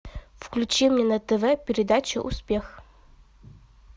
включи мне на тв передачу успех